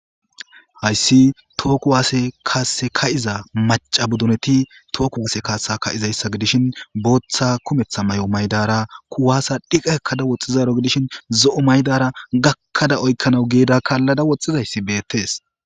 Hayssi tooku waase kaase ka7iza maca buduneti tooku wose kaasa ka7izayssa gidishin booththa kumetha may7o maydara kuwaasa dhiqa ekkada woxxizaro gidishin zo7o maydara gakkada oykkanawu geeda kaallada woxxizayssi beettees